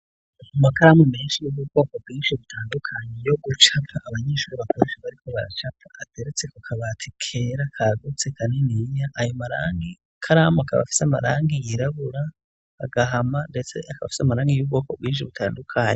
Amakaramu menshi y'ubwoko bwinshi butandukanye yo gucapa, abanyeshure bakoresha bariko baracapa, ateretse ku kabati kera kagutse kaniniya, ayo makaramu akaba afise amarangi yirabura, agahama, ndetse akaba afise amarangi y'ubwoko bwinshi butandukanye.